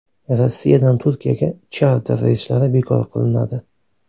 Rossiyadan Turkiyaga charter reyslari bekor qilinadi.